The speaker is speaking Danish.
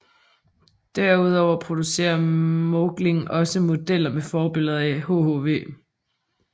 Derudover producerer Märklin også modeller med forbilleder i hhv